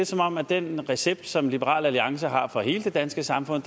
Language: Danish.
som om at den recept som liberal alliance har for hele det danske samfund